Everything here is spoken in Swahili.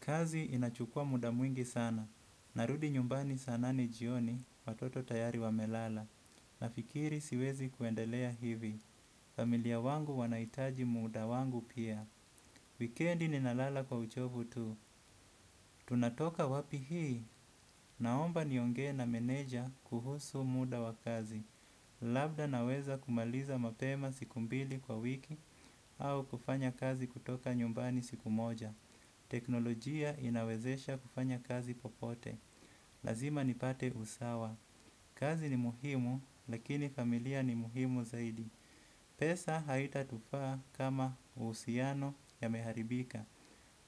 Kazi inachukua muda mwingi sana. Narudi nyumbani saa nane jioni. Watoto tayari wamelala. Nafikiri siwezi kuendelea hivi. Familia wangu wanaitaji muda wangu pia. Wikendi ninalala kwa uchovu tu. Tunatoka wapi hii? Naomba niongee na meneja kuhusu muda wa kazi. Labda naweza kumaliza mapema siku mbili kwa wiki. Au kufanya kazi kutoka nyumbani siku moja. Teknolojia inawezesha kufanya kazi popote. Lazima nipate usawa. Kazi ni muhimu lakini familia ni muhimu zaidi. Pesa haitatufaa kama uhusiano yameharibika.